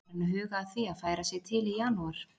Er hann farinn að huga að því að færa sig til í janúar?